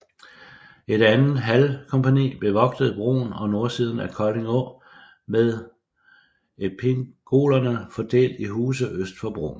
Et andet halvkompagni bevogtede broen og nordsiden af Kolding å med espingolerne fordelt i huse øst for broen